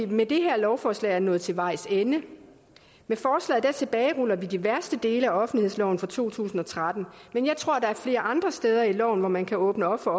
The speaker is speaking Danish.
vi med det her lovforslag er nået til vejs ende med forslaget tilbageruller vi de værste dele af offentlighedsloven fra to tusind og tretten men jeg tror der er flere andre steder i loven hvor man kan åbne op for